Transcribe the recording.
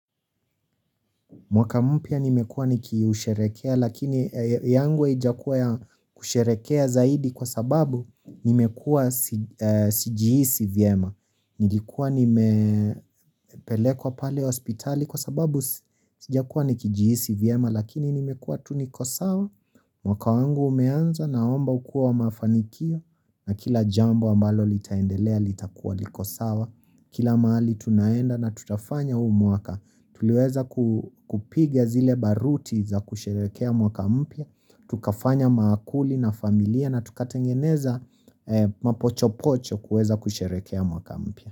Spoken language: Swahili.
Mwaka mpya nimekuwa nikiusherekea lakini yangu aijakuwa ya kusherekea zaidi kwasababu nimekua sijiisi vyema nilikuwa nimepelekwa pale hospitali kwasababu sijakuwa nikijiisi vyema lakini nimekua tu niko sawa mwaka wangu umeanza naomba ukuwe wa mafanikio na kila jambo ambalo litaendelea litakuwa likosawa kila maali tunaenda na tutafanya huumwaka tuliweza kupige zile baruti za kusherekea mwaka mpia tukafanya maakuli na familia na tukatengeneza mapochopocho kueza kusherekea mwaka mpya.